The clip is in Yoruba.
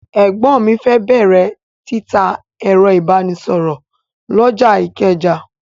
Ẹ̀gbọ́n mi fẹ́ bẹ̀rẹ̀ títa ẹ̀rọ ìbánisọ̀rọ̀ lọ́jà Ìkẹjà.